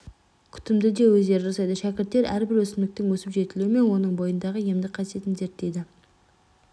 күтімді де өздері жасайды шәкірттер әрбір өсімдіктің өсіп жетілуі мен оның бойындағы емдік қасиетін зерттейді